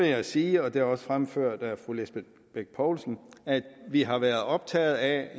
jeg sige og det er også fremført af fru lisbeth bech poulsen at vi har været optaget af